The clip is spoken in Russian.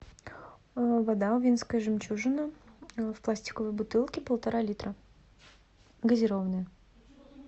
вода увинская жемчужина в пластиковой бутылке полтора литра газированная